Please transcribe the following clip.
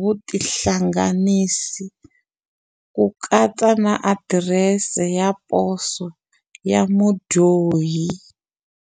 vutihlanganisi, ku katsa na adirese ya poso ya mudyohi.